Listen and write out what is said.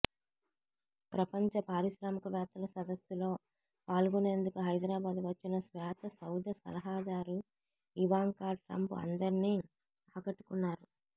ప్రపంచ పారిశ్రామికవేత్తల సదస్సులో పాల్గొనేందుకు హైదరాబాద్ వచ్చిన శ్వేతసౌధ సలహాదారు ఇవాంకా ట్రంప్ అందరినీ ఆకట్టుకున్నారు